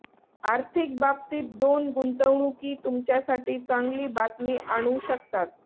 आर्थिक बाबतीत दोन गुंतवणूकी तुमच्यासाठी चांगली बातमी आणू शकतात